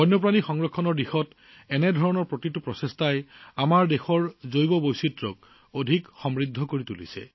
বন্যপ্ৰাণী সংৰক্ষণৰ দিশত এনে প্ৰতিটো প্ৰচেষ্টাই আমাৰ দেশৰ জৈৱ বৈচিত্ৰ্যক সমৃদ্ধ কৰে